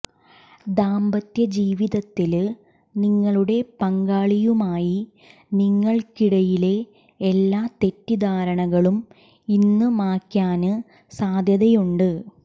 ദാമ്പത്യജീവിതത്തില് നിങ്ങളുടെ പങ്കാളിയുമായി നിങ്ങള്ക്കിടയിലെ എല്ലാ തെറ്റിദ്ധാരണകളും ഇന്ന് മായ്ക്കാന് സാധ്യതയുണ്ട്